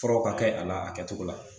Furaw ka kɛ a la a kɛtogo la